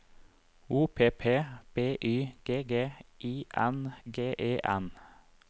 O P P B Y G G I N G E N